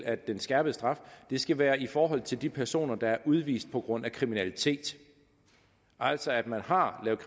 at den skærpede straf skal være i forhold til de personer der er udvist på grund af kriminalitet altså at man har lavet